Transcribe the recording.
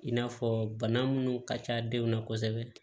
In n'a fɔ bana minnu ka ca denw na kosɛbɛ